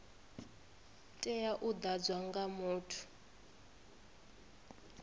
tea u ḓadzwa nga muthu